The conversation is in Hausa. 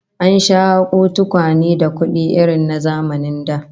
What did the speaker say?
An sha hako tukwane da kudi irin na zamanin da